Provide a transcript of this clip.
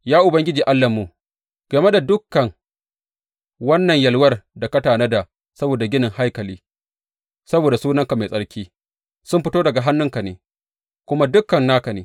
Ya Ubangiji Allahnmu, game da dukan wannan yalwar da ka tanada saboda ginin haikali saboda Sunanka Mai Tsarki, sun fito daga hannunka ne, kuma dukan naka ne.